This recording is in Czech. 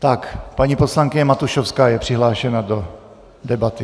Tak paní poslankyně Matušovská je přihlášena do debaty.